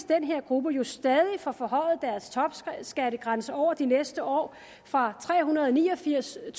den her gruppe jo stadig får forhøjet topskattegrænsen over de næste år fra trehundrede og niogfirstusind